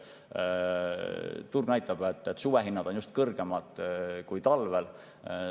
Turg näitab, et suvehinnad on just kõrgemad kui talvel.